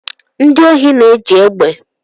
Ndị ohi na-eji egbe